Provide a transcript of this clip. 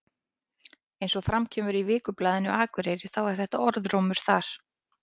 Eins og kemur fram í Vikublaðinu Akureyri þá er þetta orðrómur þar.